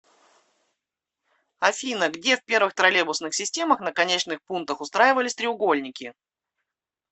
афина где в первых троллейбусных системах на конечных пунктах устраивались треугольники